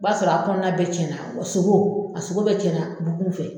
O b'a sɔrɔ a kɔnɔna bɛɛ cɛn na wa sogo a sogo bɛɛ cɛn na bugun fɛ.